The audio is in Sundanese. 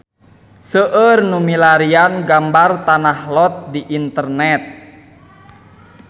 Seueur nu milarian gambar Tanah Lot di internet